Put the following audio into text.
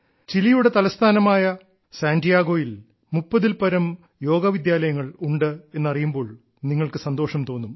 ചിലിയുടെ തലസ്ഥാനമായ സാന്റിയാഗോയിൽ 30 ൽപ്പരം യോഗാ വിദ്യാലയങ്ങൾ ഉണ്ട് എന്നറിയുമ്പോൾ നിങ്ങൾക്ക് സന്തോഷം തോന്നും